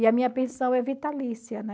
E a minha pensão é vitalícia, né?